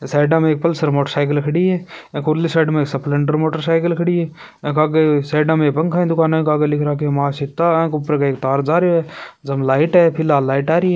Side में Pulsar motorcycle खड़ी है उरली साइड में स्प्लेंडर मोटरसाइकिल खड़ी है आग एक साइड मे पंखा की दुकान है अंग आगे लिख रखो है मां सीता आंग ऊपर एक तार जारों है जम लाइट है फिलहाल लाइट आरी है।